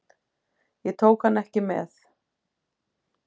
Ég tók hann ekki með.